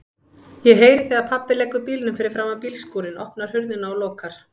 Ég heyri þegar pabbi leggur bílnum fyrir framan bílskúrinn, opnar hurðina og lokar.